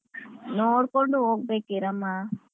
ನೋಡ್ಕೊಂಡು ಹೋಗ್ಬೇಕು ಈರಮ್ಮ.